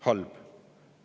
Halb!